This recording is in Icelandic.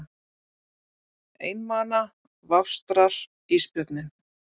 Einmana vafstrar ísbjörninn.